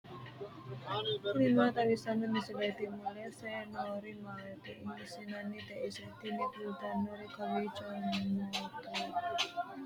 tini maa xawissanno misileeti ? mulese noori maati ? hiissinannite ise ? tini kultannori kowiicho motorete aana nooti mayteikka mannu mayra gamba yiinoikka